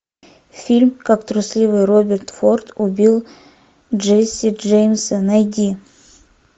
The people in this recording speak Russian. фильм как трусливый роберт форд убил джесси джеймса найди